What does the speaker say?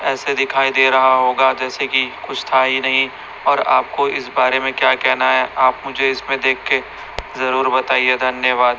ऐसे दिखाई दे रहा होगा जैसे कि कुछ था ही नहीं और आपको इस बारे में क्या कहना है आप मुझे इसपे देख के जरुर बताइए धन्यवाद।